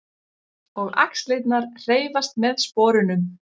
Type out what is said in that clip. Og axlirnar hreyfast með sporunum.